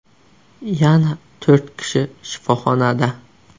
Yana to‘rt kishi shifoxonada.